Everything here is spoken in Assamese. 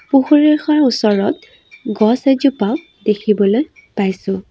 পুখুৰীখৰ ওচৰত গছ এজোপা দেখিবলৈ পাইছোঁ।